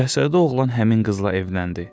Şahzadə oğlan həmin qızla evləndi.